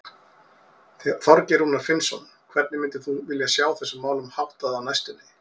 Þorgeir Rúnar Finnsson: Hvernig myndir þú vilja sjá þessum málum háttað á næstunni?